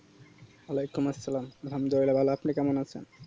অলাইকুম আসসালাম আল্হামদুলিলা ভালো আপনি কেমন আছেন